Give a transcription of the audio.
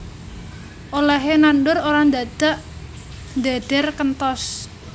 Olèhé nandur ora ndadak ndhedher kenthos